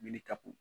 Mini ta kun